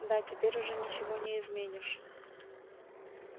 да теперь уже ничего не изменишь